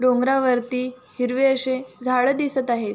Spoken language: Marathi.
डोंगरावरती हिरवे अशे झाड दिसत आहे.